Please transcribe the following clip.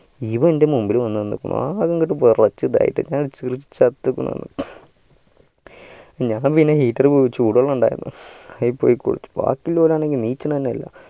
ഇവനൻ്റെ മുമ്പില് വന്നു നിന്ന് ആകെ അങ്ങട്ട് വെറച്ചു ഞാൻ പിന്നെ heater പോയി ചൂട് വെള്ളമിണ്ടായിരുന്നു അയിൽ പോയി കുളിച്ചു ബാക്കിള്ളോരാണേൽ എണ്ണീക്കണനില്ല